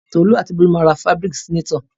Tolú àti Bólú ma ra fábíríkì sínátọ̀.